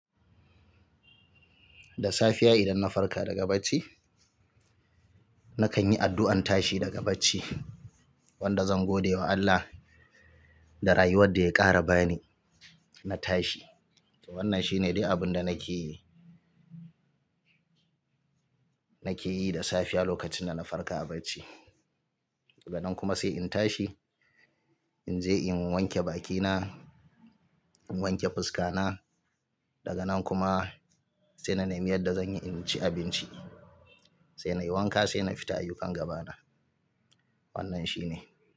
Da safiya idan na farka daga bacci, na kan yi addu'an tashi daga bacci wanda zan gode wa Allah da raye wadda ya ƙara bani na tashi. To wannan shine dai abun da nake yi, nake yi da safiya lokacin da na farka a bacci. Daga nan kuma sai in tashi, in je in wanke bakina, in wanke fuska na, daga nan kuma sai na nemi yadda zan yi in ci abinci, sai na yi wanka sai na fita ayyukan gaba na. Wannan shine.